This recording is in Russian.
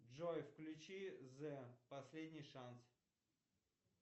джой включи зе последний шанс